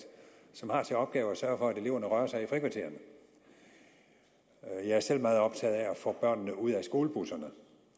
som har til opgave at sørge for at eleverne rører sig i frikvartererne jeg er selv meget optaget af at få børnene ud af skolebusserne